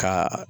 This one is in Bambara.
Ka